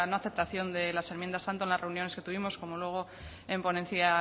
aceptación de las enmiendas tanto en las reuniones que tuvimos como luego en ponencia